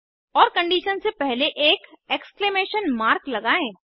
और कंडीशन से पहले एक एक्सक्लेमेशन मार्क लगाएं